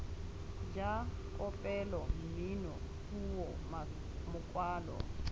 ja kopelo mmino puo mokwalo